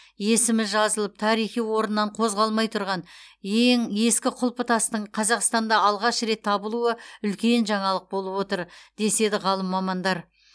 есімі жазылып тарихи орнынан қозғалмай тұрған ең ескі құлпытастың қазақстанда алғаш рет табылуы үлкен жаңалық болып отыр деседі ғалым мамандар